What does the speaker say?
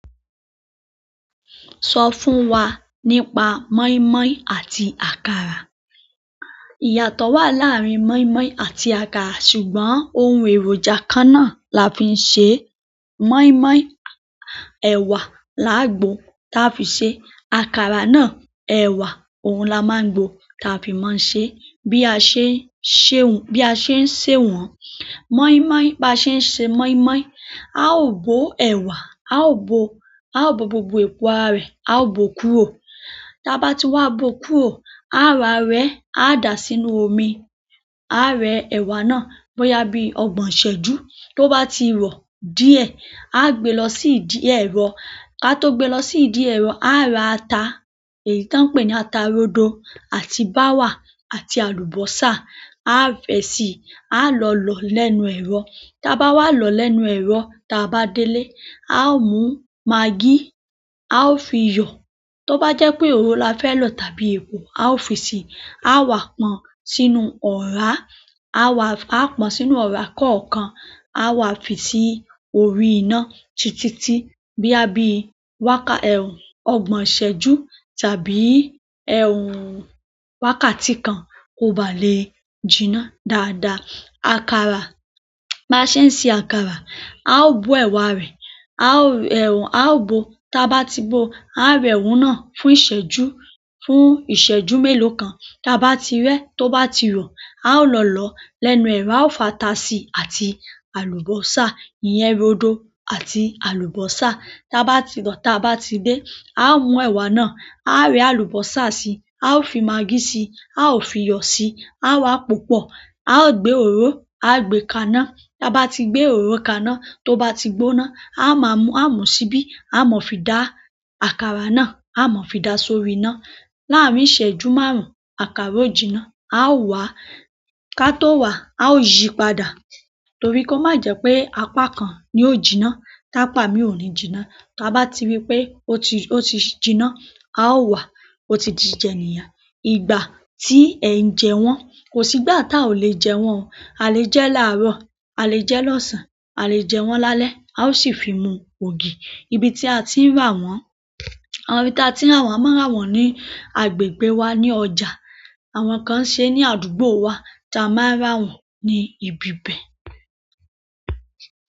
Sọ fún wa nípa mọ́ín-mọ́ín àti àkàrà. Ìyàtọ̀ wà láàárín mọ́in-mọ́ín àti àkàrà ṣùgbọ́n ohun èrò ìjà kan náà là ń fi ṣe é. Mọ́in-mọ́ín, ẹ̀wà la á gbò táa fi ṣe. Àkàrà náà, ẹ̀wà òun là máa ń gbò táa fi máa n se é. Bí a ṣe ń ṣe òun, bí a ṣe ń sèwọ̀n mọ́ín-mọ́ín, bí a ṣe ń ṣe mọ́ín-mọ́ín, a ó bó ẹ̀wà, a ó bo, a ó bó gbogbo èpo ara rẹ̀, a ó bo kúrò. Táa bá ti wá bo kúrò, a wá rẹẹ́, a dàá sínú omi. Á rẹ ẹ̀wà náà bóyá bí ọgbọ̀n ìṣẹ́jú. Tó bá ti rọ̀ díẹ̀, a gbe lọ sí ìdí ẹ̀rọ. Ká tó gbe lọ sí ìdí ẹ̀rọ á ra ata èyí tí wọ́n n pè ní ata rodo àti báwà àti àlùbọ́sa. A fi síi, á lọ lọ̀ọ́ lẹ́nu ẹ̀rọ. Táa bá wá lọ̀ọ́ lẹ́nu ẹ̀rọ, táa bá délé, a ó mú magí, a ó fi iyọ̀. Tó bá jẹ́ pé òròrò la fẹ́ lò tàbí epo, a ó fi sí. A wà pọn sínú ọ̀rá, a wà, a pọn sínú ọ̀rá kọ̀ọ̀kan. A wà fi sí orí iná titi tí bóyá bí a bí wákà ọgbọ̀n ìṣẹ́jú tàbí wákàtí kan kò bá lè jinná dáadáa. Àkàrà, bá ṣe ń ṣe àkàrà, a ó bò ẹ̀wà rẹ̀, a ó bo. Táa bá ti bòo, á rẹ òun náà fún ìṣẹ́jú, fún ìṣẹ́jú mélòó kan. Táa bá ti rẹẹ́, tó bá ti rọ̀, a ó lọ lọ̀ọ́ lẹ́nu ẹ̀rọ. A ó fata si àti àlùbọ́sà, ìyẹn rodo àti àlùbọ́sà. Táa bá ti lọ̀ọ́, táa bá ti dé, a ó mú ẹ̀wà náà, a rẹ àlùbọ́sà síi, a ó fi magí síi, a ó fi iyọ̀ síi. A wà pòó pọ̀, a ó gbé òróró, a gbé kaná. Táa bá ti gbé òróró kaná, tó bá ti gbóná, a má mú, a mú síbí. A máa fi dà àkàrà náà, a máa fi dà sórí iná. Láàárín ìṣẹ́jú márùn-ún, àkàrà ó jinná. A ó wàá, ká tó wàá a ó yi padà torí kó má jẹ́ pé apá kan ni ó jiná tápá míì ò ní jiná táa bá ti rí pé ó ti, ó ti jinná, a ó wàá, ó ti di jíjẹ nìyẹn. Ìgbà tí ẹ̀ ń jẹ wọ́n, kò sí ìgbà táa ò lè jẹ wọ́n. A lè jẹ láàárọ̀, a lè jẹ lọ́sàn-án, a lè jẹ wọ́n lálẹ́. A ó sì fi mú ògì. Ibi tí a ti ń rà wọ́n, àwọn ibi tí a ti ń rà wọ́n, a máa ń rà wọ́n ní agbègbè wa, ní ọjà. Àwọn kan ń ṣe ní àdúgbò wa tí a máa ń rà wọ́n ní ibi bẹ̀.